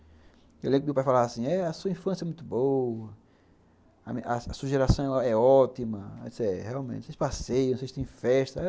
Eu lembro que o meu pai falava assim, eh a sua infância é muito boa, a sua geração é ótima, eh realmente, vocês passeiam, vocês têm festa.